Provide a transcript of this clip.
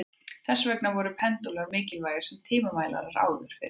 Þess vegna voru pendúlar mikilvægir sem tímamælar áður fyrr.